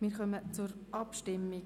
Wir kommen zur Abstimmung.